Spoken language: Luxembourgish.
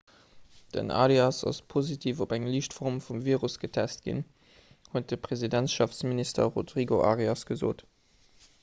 den arias ass positiv op eng liicht form vum virus getest ginn huet de presidentschaftsminister rodrigo arias gesot